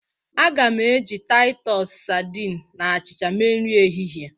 Aga m eji Taịtus sadịn na achịcha mee nri ehihie.